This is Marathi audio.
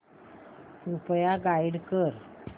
कृपया गाईड कर